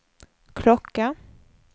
klocka